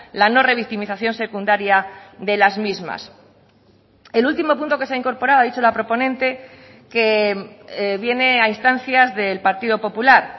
la no revictimización secundaria de las mismas el último punto que se ha incorporado ha dicho la proponente que viene a instancias del partido popular